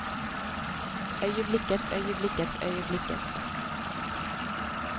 øyeblikkets øyeblikkets øyeblikkets